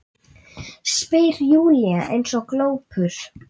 spyr Júlía eins og glópur.